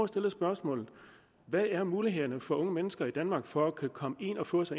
stille spørgsmålet hvad er mulighederne for unge mennesker i danmark for at kunne komme ind og få